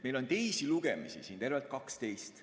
Meil on teisi lugemisi tervelt 12.